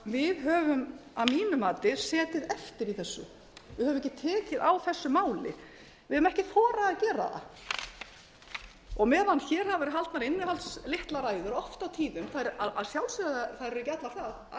mínu mati setið eftir í þessu við höfum ekki tekið á þessu máli við höfum ekki þorað að gera það og meðan hér hafa verið haldnar innihaldslitlar ræður oft á tíðum að sjálfsögðu eru þær gjarnan alls